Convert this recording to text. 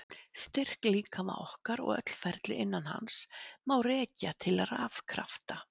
Styrk líkama okkar og öll ferli innan hans má rekja til rafkrafta.